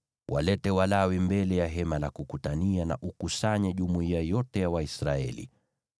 Walete Walawi mbele ya Hema la Kukutania na ukusanye jumuiya yote ya Waisraeli.